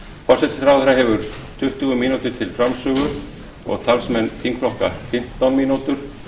forsætisráðherra hefur tuttugu mínútur til framsögu og talsmenn þingflokka fimmtán mínútur